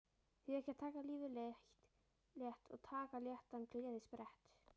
Því ekki að taka lífið létt og taka léttan gleðisprett